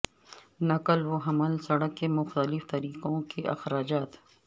نقل و حمل سڑک کے مختلف طریقوں کے اخراجات